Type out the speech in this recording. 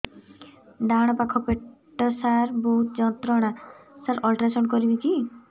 ଡାହାଣ ପାଖ ପେଟ ସାର ବହୁତ ଯନ୍ତ୍ରଣା ସାର ଅଲଟ୍ରାସାଉଣ୍ଡ କରିବି କି